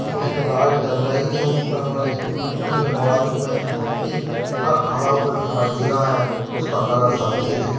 उसमें लाइट जल रही है ऊपर वाले छत में उसमें बाजू में एक ट्रक खड़ा हुआ दिखाई दे रहा है उसका कलर सफेद है।